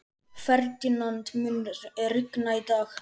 Ferdinand, mun rigna í dag?